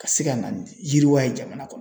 Ka se ka na ni yiriwa ye jamana kɔnɔ